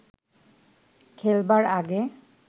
খেলবার আগে